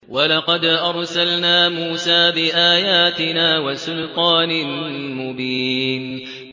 وَلَقَدْ أَرْسَلْنَا مُوسَىٰ بِآيَاتِنَا وَسُلْطَانٍ مُّبِينٍ